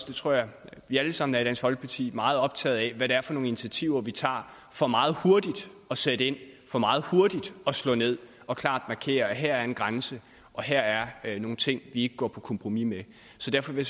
det tror jeg vi alle sammen er i dansk folkeparti meget optaget af hvad det er for nogle initiativer vi tager for meget hurtigt at sætte ind for meget hurtigt at slå ned og klart markere at her er en grænse og her er nogle ting vi ikke går på kompromis med så derfor vil